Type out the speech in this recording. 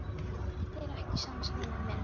Er þér ekki sama, Steini minn?